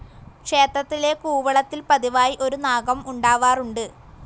ക്ഷേത്രത്തിലെ കൂവളത്തിൽ പതിവായി ഒരു നാഗം ഉണ്ടാവാറുണ്ട്.